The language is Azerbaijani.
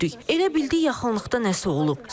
Elə bildik yaxınlıqda nəsə olub.